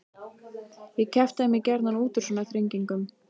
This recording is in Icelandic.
Ég kjaftaði mig gjarnan út úr svona þrengingum.